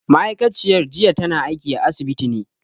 Ma'aikaciyar jiya tana aiki a asibiti ne